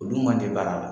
Olu man te baara la